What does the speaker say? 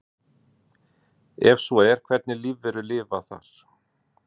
Ef svo er hvernig lífverur lifa þar?